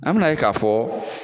An ben'a ye k'a fɔ